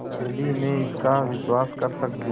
यदि मैं इसका विश्वास कर सकती